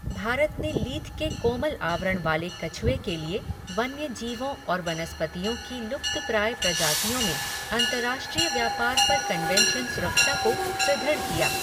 भारत ने लीथ के कोमल आवरण वाले कछुए के लिए वन्य जीवों और वनस्पतियों की लुप्तप्राय प्रजातियों में अंतर्राष्ट्रीय व्यापार पर कन्वेंशन सुरक्षा को सुदृढ़ किया।